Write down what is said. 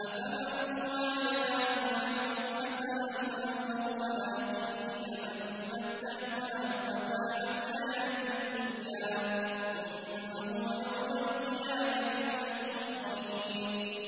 أَفَمَن وَعَدْنَاهُ وَعْدًا حَسَنًا فَهُوَ لَاقِيهِ كَمَن مَّتَّعْنَاهُ مَتَاعَ الْحَيَاةِ الدُّنْيَا ثُمَّ هُوَ يَوْمَ الْقِيَامَةِ مِنَ الْمُحْضَرِينَ